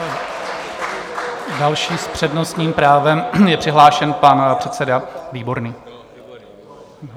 Další s přednostním právem je přihlášen pan předseda Výborný.